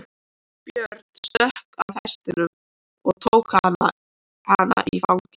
Björn stökk af hestinum og tók hana í fangið.